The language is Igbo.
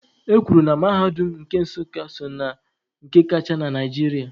E kwuru na mahadum nke Nsukka so na nke kacha na Naịjirịa.